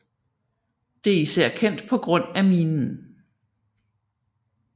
Det er især kendt på grund af minen